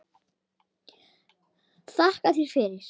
Þakka þér fyrir!